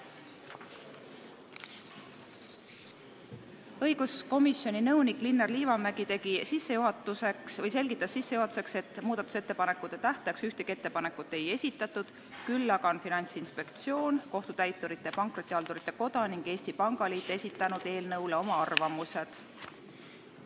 Õiguskomisjoni nõunik Linnar Liivamägi selgitas sissejuhatuseks, et muudatusettepanekute esitamise tähtajaks ühtegi ettepanekut ei esitatud, küll aga on Finantsinspektsioon, Kohtutäiturite ja Pankrotihaldurite Koda ning Eesti Pangaliit esitanud eelnõu kohta oma arvamused.